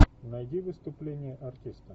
найди выступление артиста